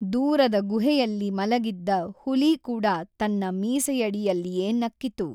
ದೂರದ ಗುಹೆಯಲ್ಲಿ ಮಲಗಿದ್ದ ಹುಲಿ ಕೂಡ ತನ್ನ ಮೀಸೆಯಡಿಯಲ್ಲಿಯೇ ನಕ್ಕಿತು.